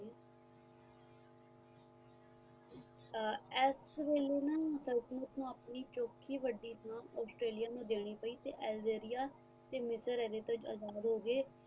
ਇਸ ਵੇਲੇ ਨਾ ਸੰਤਤਲਣ ਨੂੰ ਆਪਣੀ ਚੋਖੀ ਵੱਡੀ ਥਾਂ ਆਸਟ੍ਰੇਲੀਆ ਦੇਣੀ ਪਈ ਅਲਜੇਰੀਆ ਤੋਂ ਅਜਾਦ ਹੋ ਗਏ